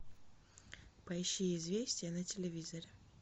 поищи известия на телевизоре